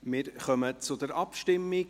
Wir kommen zur Abstimmung.